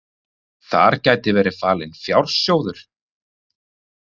Þar gæti verið falinn fjársjóður